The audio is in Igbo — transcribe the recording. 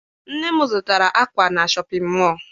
Nne m zụtara akwa na Shọpịn mọọ.